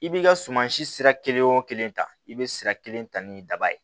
I bi ka sumansi sira kelen o kelen ta i be sira kelen ta ni daba ye